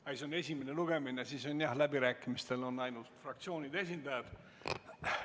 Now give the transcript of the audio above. Kuna see on esimene lugemine, on läbirääkimistel võimalik osaleda ainult fraktsioonide esindajatel.